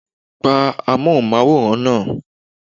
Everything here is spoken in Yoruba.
Pa Amóhùnmáwòrán náà!